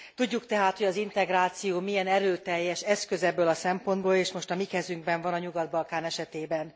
Tudjuk tehát, hogy az integráció milyen erőteljes eszköz ebből a szempontból, és most a mi kezünkben van a Nyugat Balkán esetében.